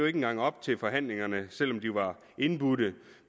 ikke engang op til forhandlingerne selv om de var indbudt